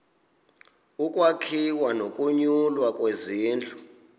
ukwakhiwa nokunyulwa kwezindlu